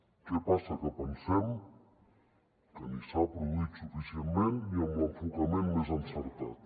què passa que pensem que ni s’ha produït suficientment ni amb l’enfocament més encertat